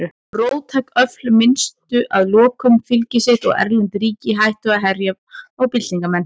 Róttæk öfl misstu að lokum fylgi sitt og erlend ríki hættu að herja á byltingarmenn.